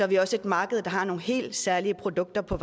vi også et marked der har nogle helt særlige produkter på